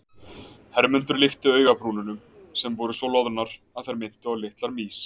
Hermundur lyfti augabrúnunum sem voru svo loðnar að þær minntu á litlar mýs.